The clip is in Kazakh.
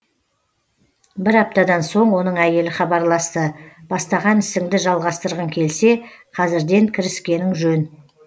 бір аптадан соң оның әйелі хабарласты бастаған ісіңді жалғастырғың келсе қазірден кіріскенің жөн